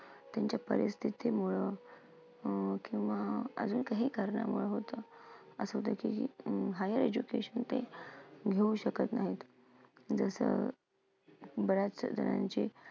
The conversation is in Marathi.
त्यांच्या परिस्थितीमुळं अं किंवा अजून काही करणामुळं होतं. अं high education ते घेऊ शकत नाहीत. जसं बऱ्याचजणांचे